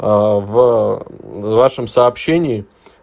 в вашем сообщении